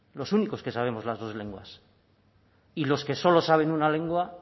los únicos que sabemos las dos lenguas y los que solo saben una lengua